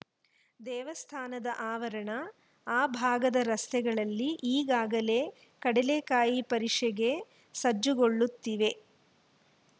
ದೇವಸ್ಥಾನದ ಆವರಣ ಆ ಭಾಗದ ರಸ್ತೆಗಳೆಲ್ಲಿ ಈಗಾಗಲೇ ಕಡಲೆಕಾಯಿ ಪರಿಷೆಗೆ ಸಜ್ಜುಗೊಳ್ಳುತ್ತಿವೆ